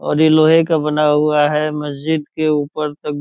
और ये लोहे का बना हुआ है मस्जिद के ऊपर तक।